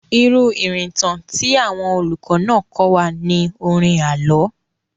Irú ìrìntàn tí àwọn olùkọ́ náà kọ́ wa ni orin àlọ́.